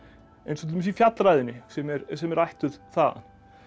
eins og til dæmis í fjallræðunni sem er sem er ættuð þaðan